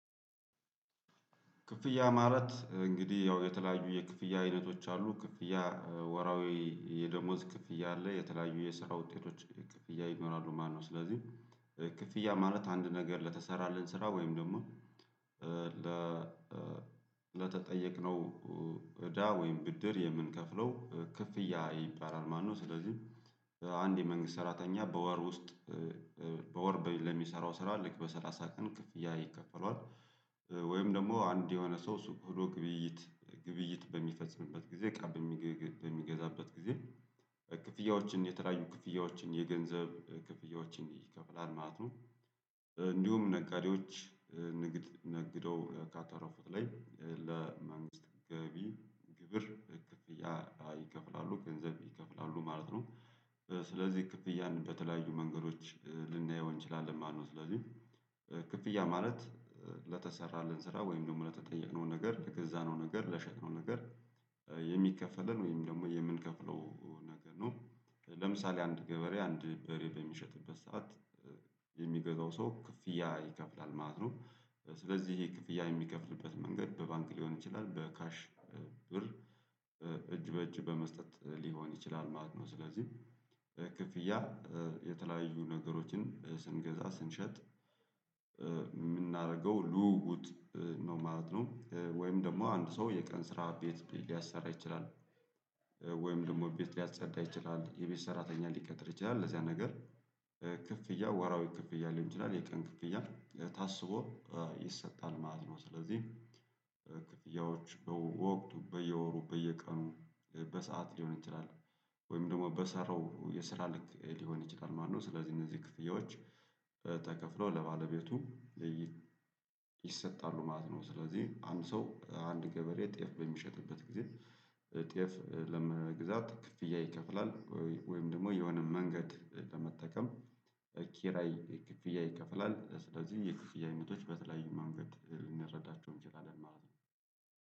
ክፍያ ማለት እንግዲህ ያው የተለያዩ የክፍያ አይነቶች አሉ ክፍያ ወርሃዊ የደሞዝ ክፍያ አለ የተለያዩ የስራ ውጤቶች ክፍያ ይኖራሉ። ማነው ስለዚህ ክፍያ ማለት አንድ ነገር ለተሰራልን ስራ ወይም ደግሞ ለ ለተጠየቅነው እዳ ወይም ብድር የምንከፍለው ክፍያ ይባላል ማለት ነው። ስለዚህ አንድ የመንግስት ሰራተኛ በወር ውስጥ በወር ለሚሰራው ስራ ልክ በሰላሳ ቀን ክፍያ ይከፈለዋል። ወይም ደግሞ አንድ የሆነ ሰው ሱቅ ሂዶ ግብይት ግብይት በሚፈጽምበት ጊዜ እቃ በሚገዛበት ጊዜ ክፍያዎችን የተለያዩ ክፍያዎችን የገንዘብ ክፍያዎችን ይከፍላል ማለት ነው። እንዲሁም ነጋዴዎች ንግድ ነግደው ካተረፉት ላይ ለመንግስት ገቢ ግብር ክፍያ ይከፍላሉ ገንዘብ ይከፍላሉ ማለት ነው። ስለዚህ ክፍያ በተለያዩ መንገዶች ልናየው እንችላለን ማነው? ስለዚህ ክፍያ ማለት ለተሰራለን ስራ ወይም ደግሞ ለተጠየቀነው ነገር ለገዛነው ነገር ለሸጥነው ነገር የሚከፈለን ወይም ደግሞ የምንከፍለው ነገር ነው። ለምሳሌ አንድ ገበሬ አንድ በሬ በሚሸጥበት ሰዓት የሚገዛው ሰው ክፍያ ይከፍላል ማለት ነው። ስለዚህ ክፍያ የሚከፍልበት መንገድ በባንክ ሊሆን ይችላል በካሽ ብር እጅ በእጅ በመስጠት ሊሆን ይችላል ማለት ነው። ስለዚህ ክፍያ የተለያዩ ነገሮችን ስንገዛ ስንሸጥ የምናደርገው ልውውጥ ነው ማለት ነው። ወይም ደግሞ አንድ ሰው የቀን ስራ ቤት ሊያሰራ ይችላል። ወይም ደግሞ ቤት ሊያጸዳ ይችላል የቤት ሰራተኛ ሊቀጥር ይችላል ለዚያ ነገር ክፍያ ወራዊ ክፍያ ሊሆን ይችላል የቀን ክፍያ ታስቦ ይሰጣል ማለት ነው። ስለዚህ ክፍያዎች በወቅቱ በየወሩ በየቀኑ በሰአት ሊሆን ይችላል። ወይም ደግሞ በሰራው የስራ ልክ ሊሆን ይችላል ማለት ነው ስለዚህ እነዚህ ክፍያዎች ተከፍሎ ለባለቤቱ ይሰጣሉ ማለት ነው። ስለዚህ አንድ ሰው አንድ ገበሬ ጤፍ በሚሸጥበት ጊዜ ጤፍ ለመግዛት ክፍያ ይከፍላል ወይም ደግሞ የሆነ መንገድ በመጠቀም ኪራይ ክፍያ ይከፍላል። ስለዚህ የክፍያ አይነቶች በተለያዩ መንገድ ልንረዳቸው እንችላለን ማለት ነው